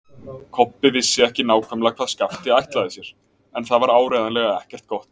Kobbi vissi ekki nákvæmlega hvað Skapti ætlaði sér, en það var áreiðanlega ekkert gott.